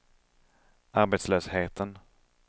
arbetslösheten